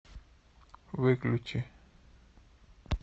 выключи